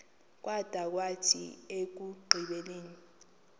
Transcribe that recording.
kwada kwathi ekugqibeleni